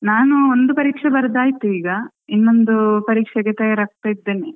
ನಾನು ಒಂದು ಪರೀಕ್ಷೆ ಬರ್ದ್ ಆಯ್ತ್ ಇಗಾ ಇನ್ನೊಂದು ಪರೀಕ್ಷೆಗೆ ತಯಾರಾಗ್ತಾ ಇದ್ದೇನೆ.